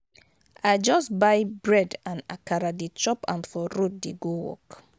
i just buy bread and akara dey chop am for road dey go work.